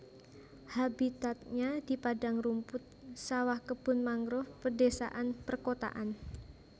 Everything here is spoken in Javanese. Habitatnya di padang rumput sawah kebun mangrove pedésaan perkotaan